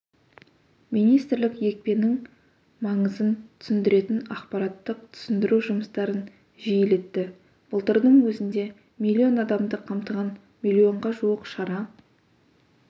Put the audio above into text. министрлік екпенің маңызын түсіндіретін ақпараттық түсіндіру жұмыстарын жиілетті былтырдың өзінде миллион адамды қамтыған миллионға жуық шара